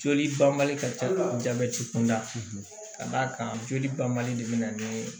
Joli banbali ka ca jabɛti kunda ka d'a kan joli banbali de bɛ na ni